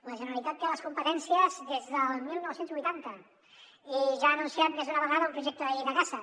la generalitat en té les competències des del dinou vuitanta i ja ha anunciat més d’una vegada un projecte de llei de caça